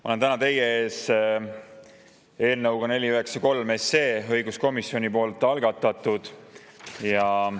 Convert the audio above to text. Ma olen täna teie ees eelnõuga 493, mille algatas õiguskomisjon.